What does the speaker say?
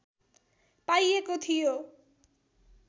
पाइएको थियो